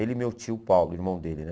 Ele e meu tio Paulo, irmão dele, né?